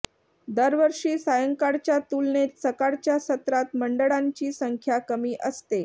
दरवर्षी सायंकाळच्या तुलनेत सकाळच्या सत्रात मंडळांची संख्या कमी असते